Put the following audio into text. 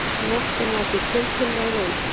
Nóttin var því tiltölulega róleg